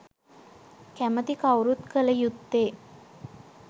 කැමැති කවුරුත් කළ යුත්තේ